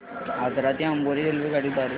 आजरा ते अंबोली रेल्वेगाडी द्वारे